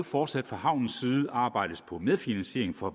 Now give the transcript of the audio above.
fortsat fra havnens side arbejdes på medfinansiering fra